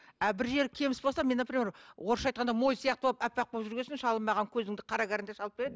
бір жері кеміс болса мен например орысша айтқанда моль сияқты болып аппақ болып жүрген соң шалым маған көзіңді қара карандаш алып береді